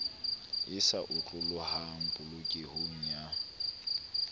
e sa otlolohang polokehong ya